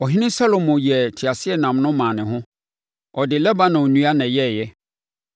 Ɔhene Salomo yɛɛ teaseɛnam no maa ne ho; ɔde Lebanon nnua na ɛyɛeɛ.